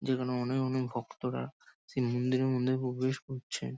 যেখানে অনেক অনেক ভক্তরা সেই মন্দিরে মন্দিরে মধ্যে প্রবেশ করছে।